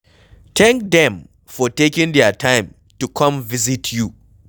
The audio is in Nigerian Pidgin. Thank them for taking their time to come visit you,